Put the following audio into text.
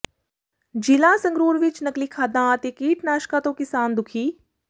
ਜ਼ਿਲ੍ਹਾ ਸੰਗਰੂਰ ਵਿਚ ਨਕਲੀ ਖਾਦਾਂ ਅਤੇ ਕੀਟਨਾਸ਼ਕਾਂ ਤੋਂ ਕਿਸਾਨ ਦੁਖੀ